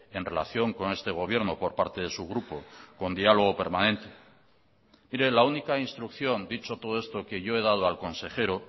en relación con este gobierno por parte de su grupo con diálogo permanente mire la única instrucción dicho todo esto que yo he dado al consejero